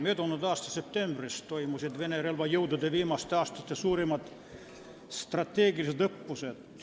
Möödunud aasta septembris toimusid Venemaa relvajõudude viimaste aastate suurimad strateegilised õppused.